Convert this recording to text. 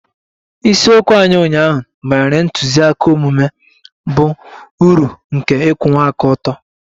Isiokwu anyị ụnyaahụ banyere ntụziaka omume bụ uru nke ịkwụwa aka ọtọ